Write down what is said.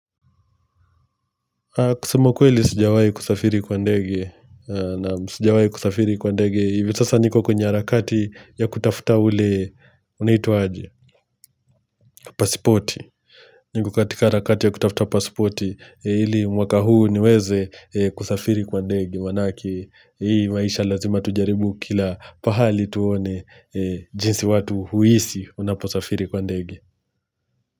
Kusema kweli sijawahi kusafiri kwa ndege, na sijawai kusafiri kwa ndege, hivi sasa niko kwenye harakati ya kutafuta ule, unaitwa aje, pasipoti. Niko katika harakati ya kutafuta pasipoti, ili mwaka huu niweze kusafiri kwa ndege, maanake hii maisha lazima tujaribu kila pahali tuone jinsi watu huishi unaposafiri kwa ndege.